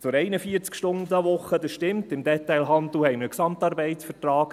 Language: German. Zur 41-Stunden-Woche: Das stimmt, im Detailhandel haben wir einen GAV.